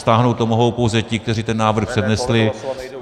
Stáhnout to mohou pouze ti, kteří ten návrh přednesli.